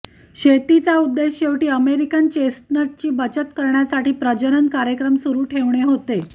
शेतीचा उद्देश शेवटी अमेरिकन चेस्टनटची बचत करण्यासाठी प्रजनन कार्यक्रम सुरू ठेवणे होते